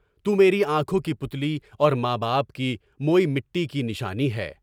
تو میری آنکھوں کی پُتلی اور ماں باپ کی موے مٹی کی نشانی ہے۔